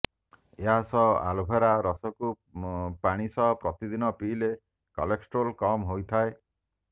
ଏହାସହ ଆଲୋଭେରା ରସକୁ ପାଣି ସହ ପ୍ରତିଦିନ ପିଇଲେ କୋଲେଷ୍ଟ୍ରଲ୍ କମ୍ ହୋଇଥାଏ